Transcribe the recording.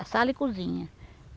A sala e cozinha.